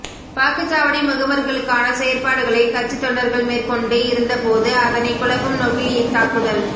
வாக்குச்சாவடி முகவர்களுக்கான செயற்பாடுகளை கட்சி தொண்டர்கள் மேற்கொண்டு இருந்த போது அதனை குழப்பும் நோக்கில் இத்தாக்குதல்